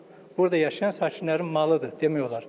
Burda yaşayan sakinlərin malıdır demək olar.